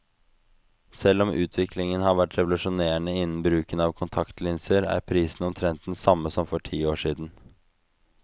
Selv om utviklingen har vært revolusjonerende innen bruken av kontaktlinser, er prisen omtrent den samme som for ti år siden.